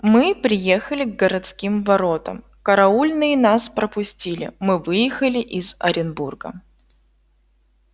мы приехали к городским воротам караульные нас пропустили мы выехали из оренбурга